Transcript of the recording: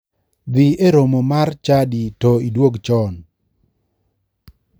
Dhi e romo mar chadi to idwog cho.